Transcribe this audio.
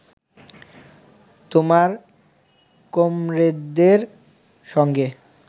তোমার কমরেডদের সঙ্গে